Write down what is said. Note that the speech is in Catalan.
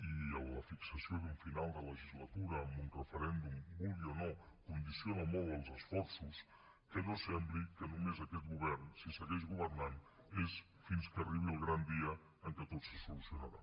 i la fixació d’un final de legislatura amb un referèndum ho vulgui o no condiciona molt els esforços que no sembli que només aquest govern si segueix governant és fins que arribi el gran dia en què tot se solucionarà